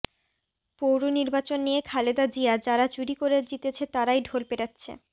পৌর নির্বাচন নিয়ে খালেদা জিয়া যারা চুরি করে জিতেছে তারাই ঢোল পেটাচ্ছে